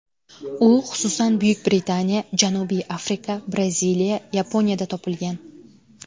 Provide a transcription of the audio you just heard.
U, xususan, Buyuk Britaniya, Janubiy Afrika, Braziliya, Yaponiyada topilgan.